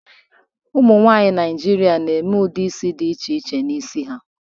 Ụmụ nwaanyị Naịjirịa na-eme ụdị isi dị iche iche n'isi ha.